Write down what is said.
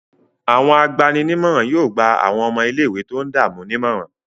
Àwọn agbani-nímọ̀ràn yóò gba àwọn ọmọ ilé-ìwé tó ń dààmú nímọ̀ràn.